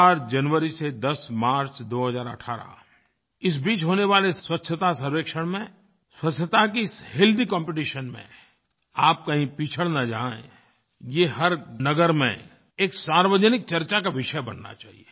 4 जनवरी से 10 मार्च 2018 इस बीच होने वाले स्वच्छतासर्वेक्षण में स्वच्छता के इस हेल्थी कॉम्पिटिशन में आप कहीं पिछड़ न जाएँ ये हर नगर में एक सार्वजनिक चर्चा का विषय बनना चाहिए